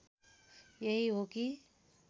यही हो कि